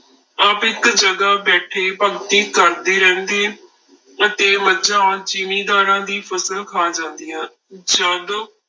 ਆਪ ਇੱਕ ਜਗ੍ਹਾ ਬੈਠੇ ਭਗਤੀ ਕਰਦੇ ਰਹਿੰਦੇ ਰਹਿੰਦੇ, ਅਤੇ ਮੱਝਾ ਜ਼ਿੰਮੀਦਾਰਾਂ ਦੀ ਫਸਲ ਖਾ ਜਾਂਦੀਆਂ ਜਦ